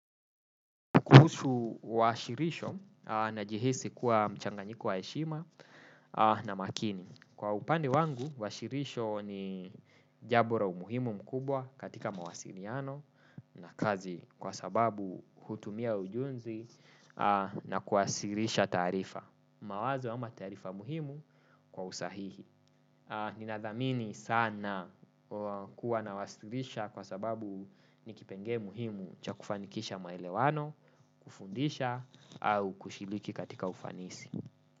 Kuhusu washirisho najihisi kuwa mchanganyiko wa eshima na makini. Kwa upande wangu, washirisho ni jabo ra umuhimu mkubwa katika mawasiriano na kazi kwa sababu hutumia ujunzi na kuwasirisha tarifa. Mawazo ama tarifa muhimu kwa usahihi. Ninathamini sana kuwa na wasitidisha kwa sababu nikipenge muhimu chakufanikisha maelewano, kufundisha au kushiriki katika ufanisi.